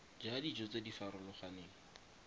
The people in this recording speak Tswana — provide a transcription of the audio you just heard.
ja dijo tse di farologaneng